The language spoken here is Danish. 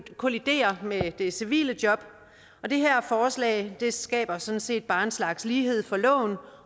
kolliderer med det civile job og det her forslag skaber sådan set bare en slags lighed for loven